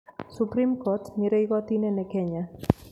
Supreme Court nĩrĩo igoti inene Kenya.